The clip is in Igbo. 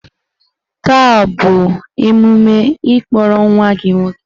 Taa ọ bụ emume ịkpọrọ nwa gị nwoke?